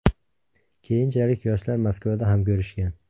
Keyinchalik yoshlar Moskvada ham ko‘rishgan.